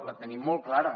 la tenim molt clara